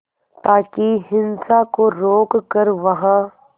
ताकि हिंसा को रोक कर वहां